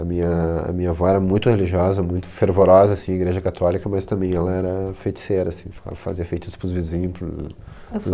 A minha minha avó era muito religiosa, muito fervorosa, assim, igreja católica, mas também ela era feiticeira, assim, fazia feitiços pros vizinhos, pros amigos.